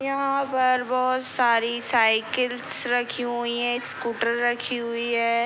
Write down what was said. यहाँ पर बहुत सारी साइकिलस रखी हुई हैं स्कूटर रखी हुई है।